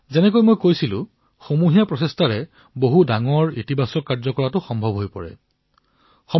যিদৰে মই কলো যে যে সামুহিক প্ৰয়াসৰ দ্বাৰা বৃহৎ ধনাত্মক পৰিণাম লাভ কৰিব পাৰি